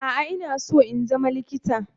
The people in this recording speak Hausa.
A'a. Ina so in zama likita